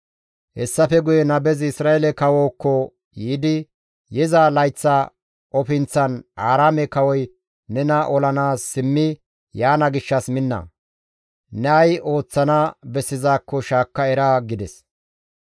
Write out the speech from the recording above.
Hessafe guye nabezi Isra7eele kawookko yiidi, «Yiza layththa ofinththan Aaraame kawoy nena olanaas simmi yaana gishshas minna! Ne ay ooththana bessizaakko shaakka era» gides.